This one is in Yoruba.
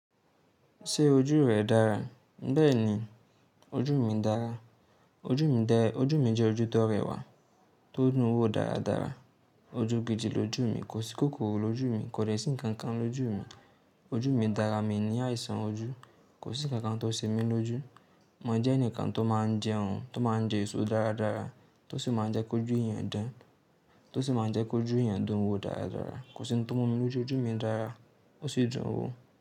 Ṣé ojú rẹ dára? Bẹ́ẹ̀ni, ojú mi dára. Ojú mi jẹ́ ojú tó rẹwà, tó ń dúnwó dáradára. Ojú gidi lójú mi, kò sí kòkòrò lójú mi, kò dẹ̀ sí ǹkan kan lójú mi. Ojú mi dára, mi ní àìsàn ojú. Kò sí ǹkan kan tó ṣe mí lójú. Mo jẹ́ ẹnìkan tó máa ń jẹun, tó máa ń jẹ èso dáradára, tó sì máa ń jẹ́ kó jú ìyàn dán, tó sì máa ń jẹ́ kó jú ìyàn dún wo dáradára. Kò sí ohun tó mú mi lójú, ojú mi dára, ó sì dùn ún wo.